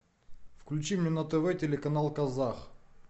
включи мне на тв телеканал казах